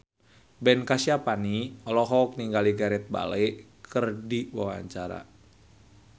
Ben Kasyafani olohok ningali Gareth Bale keur diwawancara